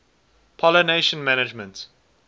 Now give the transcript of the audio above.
pollination management